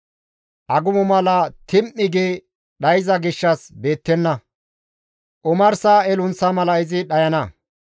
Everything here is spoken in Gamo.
Agumo mala tim7i gi dhayza gishshas beettenna; omarsa elunththa mala izi dhayana.